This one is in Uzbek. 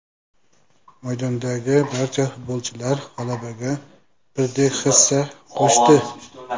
Maydondagi barcha futbolchilar g‘alabaga birdek hissa qo‘shdi.